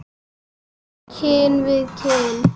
Síðustu kinn við kinn.